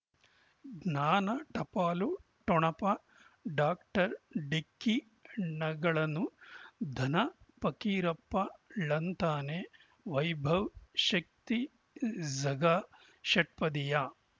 ಜ್ಞಾನ ಟಪಾಲು ಠೊಣಪ ಡಾಕ್ಟರ್ ಢಿಕ್ಕಿ ಣಗಳನು ಧನ ಫಕೀರಪ್ಪ ಳಂತಾನೆ ವೈಭವ್ ಶಕ್ತಿ ಝಗಾ ಷಟ್ಪದಿಯ